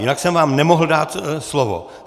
Jinak jsem vám nemohl dát slovo.